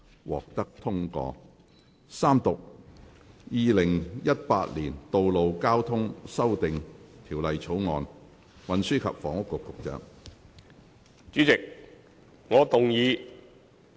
主席，我動議《2018年道路交通條例草案》予以三讀並通過。